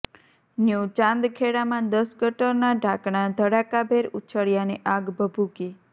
new ચાંદખેડામાં દસ ગટરના ઢાંકણા ધડાકાભેર ઉછળ્યાને આગ ભભૂકી